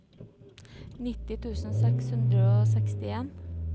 nitti tusen seks hundre og sekstien